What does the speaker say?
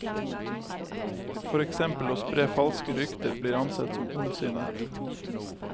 For eksempel å spre falske rykter blir ansett som ondsinnet.